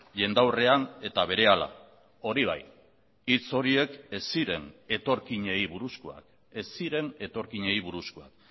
jendaurrean eta berehala hori bai hitz horiek ez ziren etorkinei buruzkoak ez ziren etorkinei buruzkoak